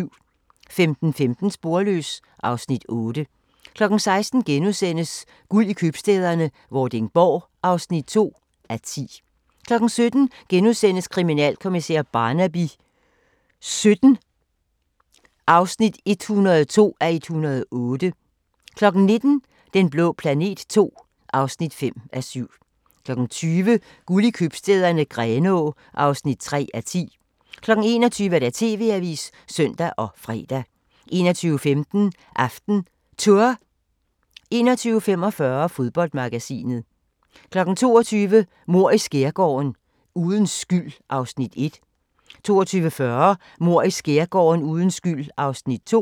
15:15: Sporløs (Afs. 8) 16:00: Guld i købstæderne - Vordingborg (2:10)* 17:00: Kriminalkommissær Barnaby XVII (102:108)* 19:00: Den blå planet II (5:7) 20:00: Guld i købstæderne - Grenaa (3:10) 21:00: TV-avisen (søn og fre) 21:15: AftenTour 21:45: Fodboldmagasinet 22:00: Mord i Skærgården: Uden skyld (Afs. 1) 22:40: Mord i Skærgården: Uden skyld (Afs. 2)